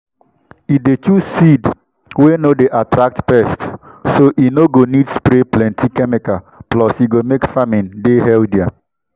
e dey choose seed wey no dey attract pests so e no go need spray plenty chemikal plus e go make farming dey healthier.